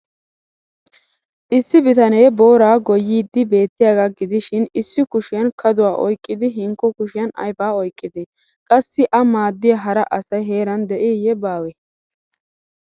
Issi bitanee booraa goyyiiddi beettiyaagaa gidishin issi kushiyan kaduwa oyqqidi hinkko kushiyan aybaa oyqqidee? Qassi a maaddiya hara asay heeran de'iiyye baawee?